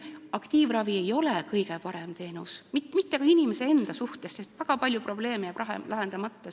Aktiivravi ei ole kõige parem teenus, mitte ka inimese jaoks, sest seal jääb väga palju probleeme lahendamata.